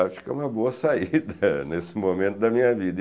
Acho que é uma boa saída nesse momento da minha vida.